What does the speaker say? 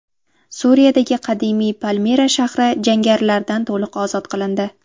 Suriyadagi qadimiy Palmira shahri jangarilardan to‘liq ozod qilindi.